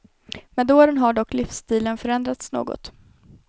Med åren har dock livsstilen förändrats något.